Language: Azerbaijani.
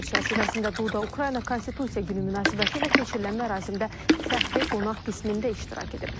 Səfər çərçivəsində Duda Ukrayna konstitusiya günü münasibətilə keçirilən mərasimdə fəxri qonaq qismində iştirak edib.